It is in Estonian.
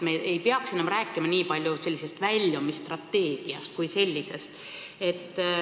Me ei peaks enam rääkima nii palju sellisest väljumisstrateegiast kui sellisest.